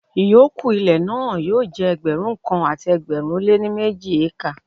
Ìyókù ilẹ̀ náà yóò jẹ́ Ẹgbẹ̀rún kan àti ẹgbẹ̀rin ó lé ní méjì ékà.